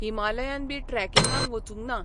Himalayan बी ट्रॅकींगाक वचूंक ना.